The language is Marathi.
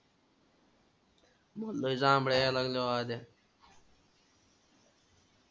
लय जांबळ्या यायला लागल्या महादया.